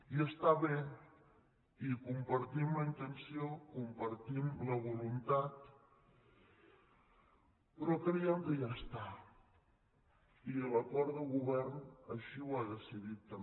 i està bé i en compartim la intenció en compartim la voluntat però creiem que ja està i l’acord de govern així ho ha decidit també